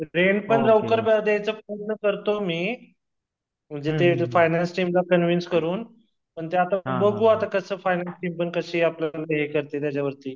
रेंटपण लवकर देयाचा प्रयत्न करतो मी तिथे फाईनान्स टीमला कॅन्वेंस करतो मी म्हणजे आता बघू आता कस फाईनान्स टीमपण कशी आपल्याला हे करते त्याच्यावरती